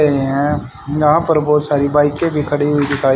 हैं यहां पर बहुत सारी बाईकें भी खड़ी हुई दिखाई--